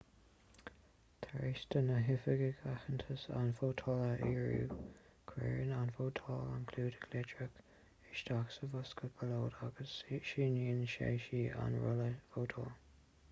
tar éis do na hoifigigh aitheantas an vótálaí a fhíorú cuireann an vótálaí an clúdach litreach isteach sa bhosca ballóide agus síníonn sé/sí an rolla vótála